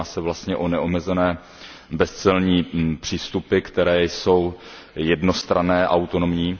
Jedná se vlastně o neomezené bezcelní přístupy, které jsou jednostranné a autonomní.